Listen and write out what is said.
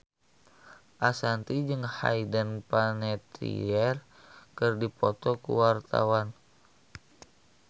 Ashanti jeung Hayden Panettiere keur dipoto ku wartawan